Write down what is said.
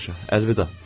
Yaxşı, əlvida.